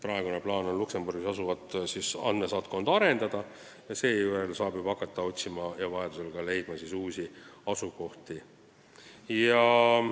Praegune plaan on Luksemburgis asuvat andmesaatkonda arendada ning seejärel saab juba hakata uusi asukohti otsima ja ka leidma.